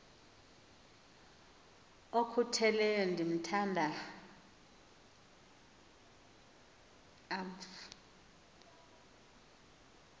okhutheleyo ndithanda umf